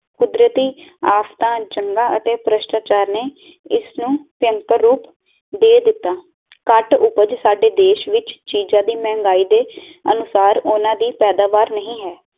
ਕੁਦਰਤੀ ਆਫ਼ਤਾਂ ਚੰਗਾ ਅਤੇ ਪ੍ਰਸ਼ਟਾਚਾਰ ਨੇ ਇਸ ਨੂੰ ਭਿਅੰਕਰ ਰੂਪ ਦੇ ਦਿੱਤਾ ਕੱਟ ਉਪਜ ਸਾਡੇ ਦੇਸ਼ ਵਿਚ ਤੀਜਾ ਦਿਨ ਮਹਿੰਗਾਈ ਦੇ ਅਨੁਸਾਰ ਓਹਨਾ ਦੀ ਪੈਦਾਵਾਰ ਨਹੀਂ ਹੈ